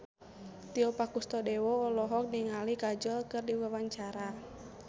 Tio Pakusadewo olohok ningali Kajol keur diwawancara